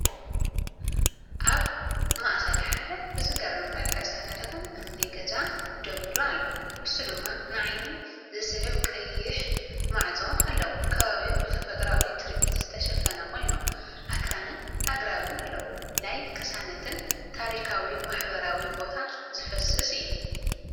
ኣብ ማእከል ሓደ ብዝገርም መልክዕ ዝተነደቐ እምኒ ገዛ ደው ኢሉ ኣሎ፡ ንሱ ድማ ንዓይኒ ዝስሕብ ቀይሕ ማዕጾ ኣለዎ። ከባቢኡ ብተፈጥሮኣዊ ትርኢት ዝተሸፈነ ኮይኑ፡ ኣኽራንን ኣግራብን ኣለዎ። ናይ ቅሳነትን ታሪኻዊ ማሕበራዊ ቦታን ዝፈስስ እዩ።